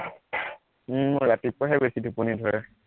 উম মোৰ ৰাতিপুৱাহে বেছি টোপনী ধৰে